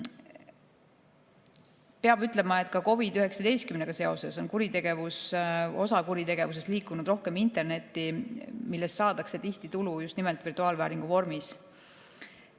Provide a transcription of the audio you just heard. Peab ütlema, et ka COVID‑iga seoses on osa kuritegevusest liikunud rohkem internetti, millest saadakse tihti tulu just nimelt virtuaalvääringu vormis.